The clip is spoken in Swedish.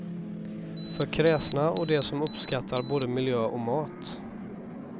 För kräsna och de som uppskattar både miljö och mat.